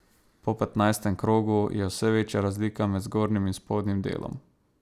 Po petnajstem krogu je vse večja razlika med zgornjim in spodnjim delom.